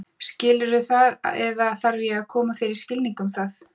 Skilurðu það eða þarf ég að koma þér í skilning um það?